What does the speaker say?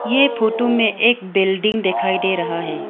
ये फोटो में एक बिल्डिंग दिखाई दे रहा है।